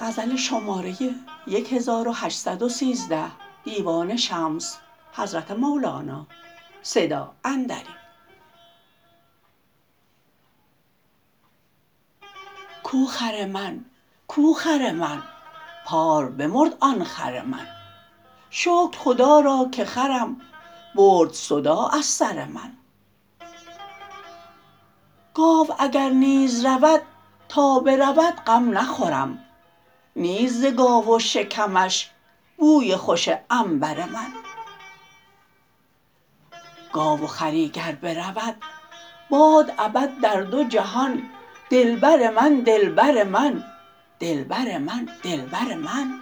کو خر من کو خر من پار بمرد آن خر من شکر خدا را که خرم برد صداع از سر من گاو اگر نیز رود تا برود غم نخورم نیست ز گاو و شکمش بوی خوش عنبر من گاو و خری گر برود باد ابد در دو جهان دلبر من دلبر من دلبر من دلبر من